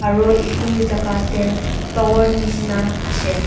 aro edu jaka tae tower nishina ashae.